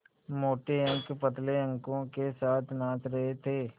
मोटे अंक पतले अंकों के साथ नाच रहे थे